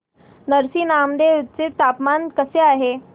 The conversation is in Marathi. नरसी नामदेव चे तापमान कसे आहे